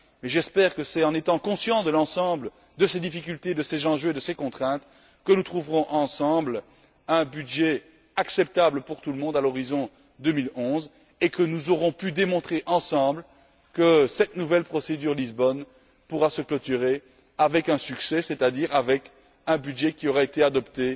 Et j'espère que c'est en étant conscients de toutes ces difficultés, de ces enjeux et de ces contraintes que nous trouverons ensemble un budget acceptable pour tout le monde à l'horizon 2011, et que nous démontrerons ensemble que cette nouvelle procédure du traité de Lisbonne peut se clôturer avec un succès, c'est à dire avec un budget qui aura été adopté